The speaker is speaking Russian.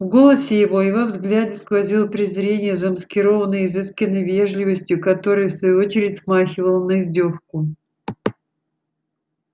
в голосе его и во взгляде сквозило презрение замаскированное изысканной вежливостью которая в свою очередь смахивала на издёвку